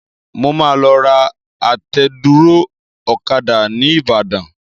Mo máa lọ ra àtẹ̀dúró ọ̀kadà ní ìbàdàn.